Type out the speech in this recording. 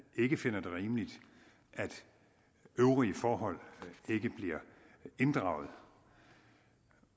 ikke finder det rimeligt at øvrige forhold ikke bliver inddraget